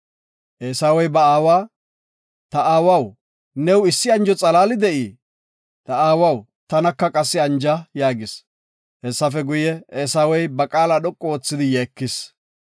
Eesawey ba aawa, “Ta aawaw, new issi anjo xalaali de7ii? Ta aawaw, tanaka qassi anja” yaagis. Hessafe guye, Eesawey ba qaala dhoqu oothidi yeekis.